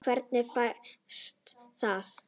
Hvernig fæðist það?